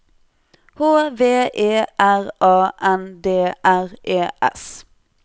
H V E R A N D R E S